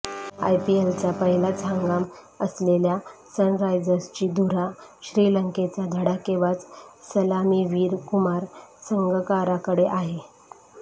आयपीएलचा पहिलाच हंगाम असलेल्या सनरायझर्सची धुरा श्रीलंकेचा धडाकेबाज सलामीवीर कुमार संगकाराकडे आहे